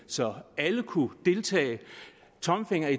så alle kunne deltage tommelfingeren